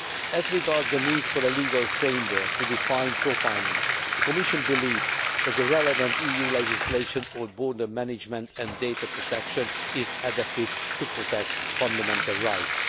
As regards the need for a legal framework to define profiling, the Commission believes that the relevant EU legislation on border management and data protection is adequate to protect fundamental rights.